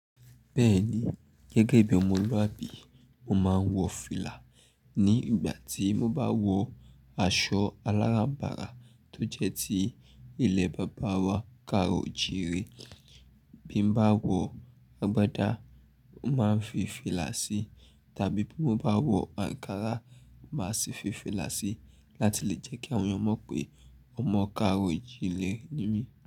Bẹ́ẹ̀ni, gẹ́gẹ́ bí omoluabi, mo máa ń wọ fìlà ní ìgbà tí mo bá wọ aṣọ aláranbara tó jẹ́ tí ilé bàbá wa Karo jire. Bí mo bá wọ agbádá, màá fi fìlà sí tàbí bí mo bá wọ àǹkárá, màá sì fi fìlà sí láti lè jẹ́ kí àwọn ẹeyan mọ̀ pé ọmọ Karo jile ni mí.